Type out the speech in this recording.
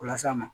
O las'a ma